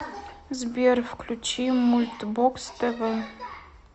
сбер включи мульт бокс тэ вэ